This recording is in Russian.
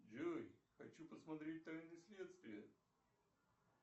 джой хочу посмотреть тайны следствия